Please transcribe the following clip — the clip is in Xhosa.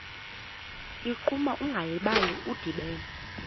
ligquma ungalibali udibene